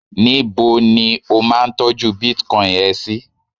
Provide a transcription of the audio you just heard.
níbo ni o ma n tọju bitcoin ẹ sí